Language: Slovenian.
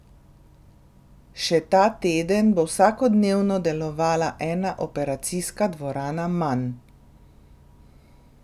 Še ta teden bo vsakodnevno delovala ena operacijska dvorana manj.